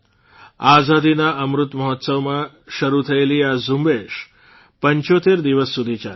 આઝાદીના અમૃત મહોત્સવમાં શરૂ થયેલી આ ઝુંબેશ ૭૫ દિવસ સુધી ચાલી